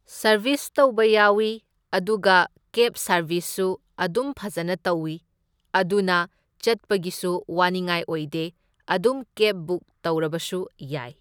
Service ꯇꯧꯕ ꯌꯥꯎꯢ ꯑꯗꯨꯒ ꯀꯦꯕ ꯁꯔꯕꯤꯁꯁꯨ ꯑꯗꯨꯝ ꯐꯖꯅ ꯇꯧꯢ, ꯑꯗꯨꯅ ꯆꯠꯄꯒꯤꯁꯨ ꯋꯥꯅꯤꯡꯉꯥꯏ ꯑꯣꯏꯗꯦ, ꯑꯗꯨꯝ ꯀꯦꯕ ꯕꯨꯛ ꯇꯧꯔꯕꯁꯨ ꯌꯥꯏ꯫